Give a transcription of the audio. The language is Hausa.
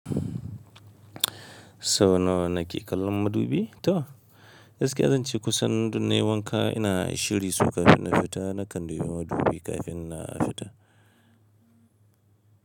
So nawa na ke kallon madubi to? Gaskiya zan ce kusan dun nayi wanka ina shiri so kafin na fita na kan dubi madubi kafin na fita.